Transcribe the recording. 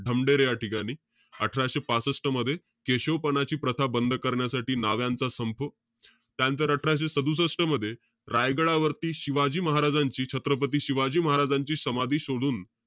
ढमढेरे या ठिकाणी. अठराशे पासष्ट मध्ये, केशवपनाची प्रथा बंद करण्यासाठी, नाभ्याचा संप. त्यानंतर, अठराशे सदुसष्ट मध्ये, रायगडावरती शिवाजी महाराजांची, छत्रपती शिवाजी महाराजांची समाधी शोधून,